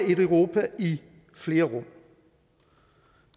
et europa i flere rum